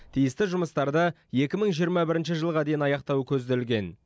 тиісті жұмыстарды екі мың жиырма бірінші жылға дейін аяқтау көзделген